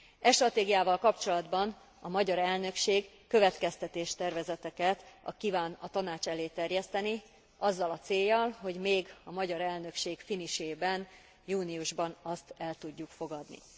E stratégiával kapcsolatban a magyar elnökség következtetéstervezeteket kíván a Tanács elé terjeszteni azzal a céllal, hogy még a magyar elnökség finisében, júniusban azt el tudjuk fogadni.